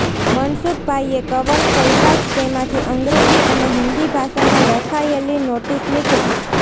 મનસુખભાઈએ cover ખોલતાં જ તેમાંથી અંગ્રેજી અને હિન્દી ભાષામાં લખાયેલી નોટિસ નીકળી